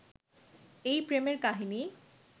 এই প্রেমের কাহিনী